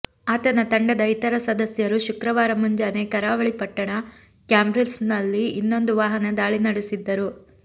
ಆತನ ತಂಡದ ಇತರ ಸದಸ್ಯರು ಶುಕ್ರವಾರ ಮುಂಜಾನೆ ಕರಾವಳಿ ಪಟ್ಟಣ ಕ್ಯಾಂಬ್ರಿಲ್ಸ್ನಲ್ಲಿ ಇನ್ನೊಂದು ವಾಹನ ದಾಳಿ ನಡೆಸಿದ್ದರು